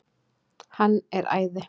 Hann er æði.